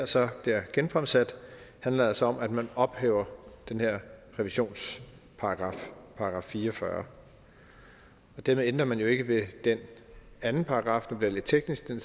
så her er genfremsat handler altså om at man ophæver den her revisionsparagraf § fire og fyrre dermed ændrer man jo ikke ved den anden paragraf det bliver lidt teknisk den